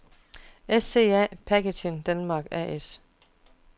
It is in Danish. SCA Packaging Denmark A/S